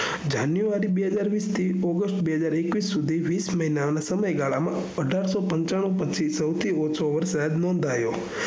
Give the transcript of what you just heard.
january બેહજારવીસ થી august બેહજાર એકવીસ સુધી વીસ મહિના ના સમય ગાળા માં અઢારસૌપચાનું પછી સૌથી ઓછો વરસાદ નોઘ્યો